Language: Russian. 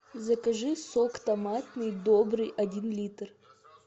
закажи сок томатный добрый один литр